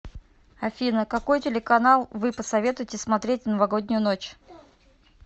афина какой телеканал вы посоветуете смотреть в новогоднюю ночь